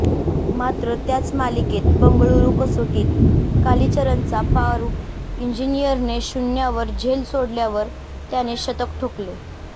मात्र त्याच मालिकेत बंगळूरू कसोटीत कालीचरणचा फारुख इंजिनियरने शून्यावर झेल सोडल्यावर त्याने शतक ठोकले